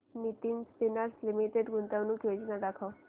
Nitin spinners limited गुंतवणूक योजना दाखव